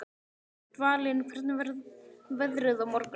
Dvalinn, hvernig verður veðrið á morgun?